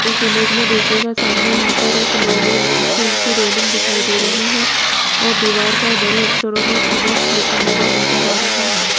इस इमेज में देखिएगा सामने यहां पर एक लोहे स्टील की रेलिंग दिखाई दे रही है और दीवार पर बड़े अक्षरों में लिखा हुआ नजर आ रहा है।